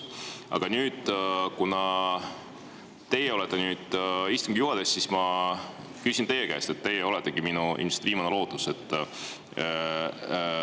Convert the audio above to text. Aga kuna teie olete nüüd istungi juhataja, siis ma küsin teie käest – teie oletegi minu ilmselt viimane lootus.